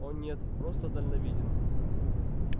о нет просто дальновиден